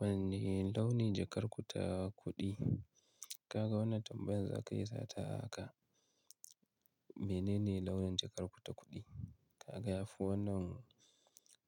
Wanne launin jakar ku ta kuɗi? Kaga wannan tambayar za ka isa ta haka. Menene launin jakar ku ta kuɗi? Kaga yafi wannan